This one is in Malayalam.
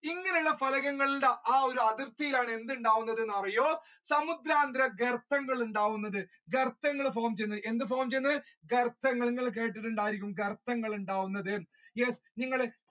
ഇങ്ങനെയുള്ള പലകങ്ങളിലാണ് ആ ഒരു അതിർത്തിയിലാണ് എന്തുണ്ടാവുന്നത് എന്ന് അറിയോ സമുദ്രാന്തര കെർത്തങ്ങൾ ഉണ്ടാകുന്നത് കെർത്തങ്ങൾ form ചെയ്യുന്നുണ്ട് എന്ത് ചെയ്യുന്നത് കെർത്തങ്ങൾ നിങ്ങൾ കേട്ടിട്ടുണ്ടായിരിക്കും കെർത്തങ്ങൾ ഉണ്ടാവുന്നത് yes നിങ്ങൾ